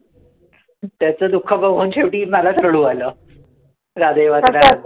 त्याचं त्याचं दुःख बघून शेवटी मलाच रडू आलं. राधेय वाचून.